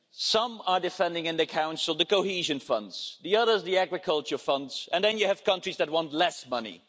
Some are defending in the Council the cohesion funds, the others the agriculture funds, and then you have countries that want less money.